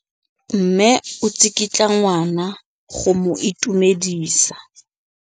Mme o tsikitla ngwana go mo itumedisa.